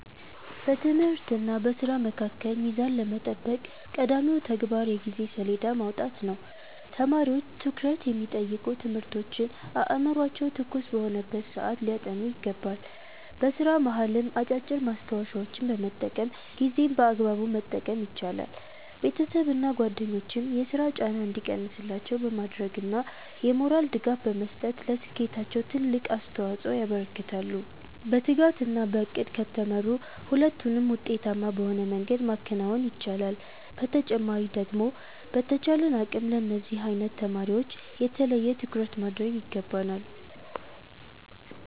በትምህርትና በሥራ መካከል ሚዛን ለመጠበቅ ቀዳሚው ተግባር የጊዜ ሰሌዳ ማውጣት ነው። ተማሪዎች ትኩረት የሚጠይቁ ትምህርቶችን አእምሯቸው ትኩስ በሆነበት ሰዓት ሊያጠኑ ይገባል። በሥራ መሃልም አጫጭር ማስታወሻዎችን በመጠቀም ጊዜን በአግባቡ መጠቀም ይቻላል። ቤተሰብና ጓደኞችም የሥራ ጫና እንዲቀንስላቸው በማድረግና የሞራል ድጋፍ በመስጠት ለስኬታቸው ትልቅ አስተዋፅኦ ያበረክታሉ። በትጋትና በዕቅድ ከተመሩ ሁለቱንም ውጤታማ በሆነ መንገድ ማከናወን ይቻላል። በተጨማሪ ደግሞ በተቻለን አቅም ለነዚህ አይነት ተማሪወች የተለየ ትኩረት ማድረግ ይገባናል።